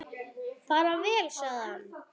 Bara vel, sagði hann.